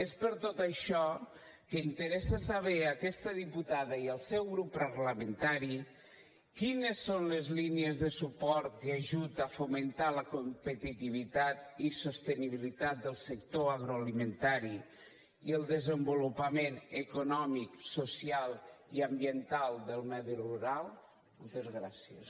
és per tot això que interessa saber a aquesta diputada i al seu grup parlamentari quines són les línies de suport i ajut a fomentar la competitivitat i sostenibilitat del sector agroalimentari i el desenvolupament econòmic social i ambiental del medi rural moltes gràcies